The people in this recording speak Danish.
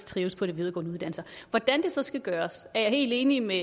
trives på de videregående uddannelser hvordan det så skal gøres er jeg helt enig med